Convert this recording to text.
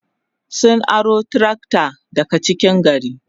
sun aro trakta daga cikin gari